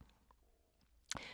DR2